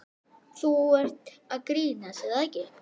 Þú ert að grínast er það ekki?